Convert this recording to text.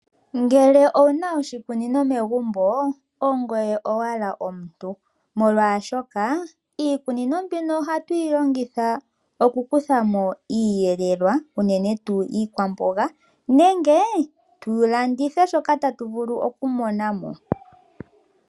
Ngele owuna oshikunino megumbo, ongoye owala omuntu! Iikunino ohayi longithwa oku eta po oshiyelelwa unene tuu iikwamboga nenge mulandithwe shoka tashi monika mo.